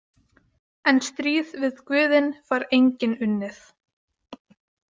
En stríð við guðin fær enginn unnið.